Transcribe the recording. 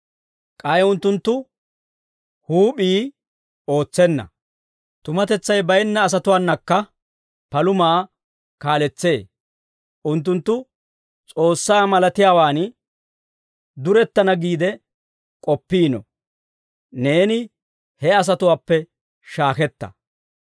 K'ay unttunttu huup'ii ootsenna. Tumatetsay baynna asatuwaanakka palumaa kaaletsee. Unttunttu S'oossaa malatiyaawaan durettana giide k'oppiino. Neeni he asatuwaappe shaaketta.